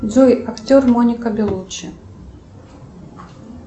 джой актер моника белуччи